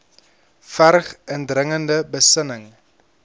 verg indringende besinning